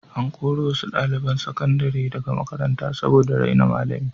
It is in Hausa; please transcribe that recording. An kori wasu ɗaliban sakandare daga makaranta saboda raina malami.